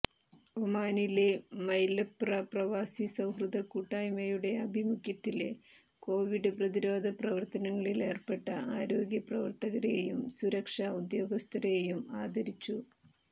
ഒമാനിലെ മൈലപ്ര പ്രവാസി സൌഹൃദ കൂട്ടായ്മയുടെ ആഭിമുഖ്യത്തില് കൊവിഡ് പ്രതിരോധ പ്രവര്ത്തനത്തിലേര്പ്പെട്ട ആരോഗ്യപ്രവര്ത്തകരെയും സുരക്ഷാ ഉദ്യോഗസ്ഥരെയും ആദരിച്ചു